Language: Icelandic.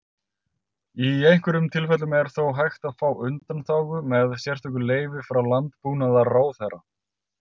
Í einhverjum tilfellum er þó hægt að fá undanþágu með sérstöku leyfi frá Landbúnaðarráðherra.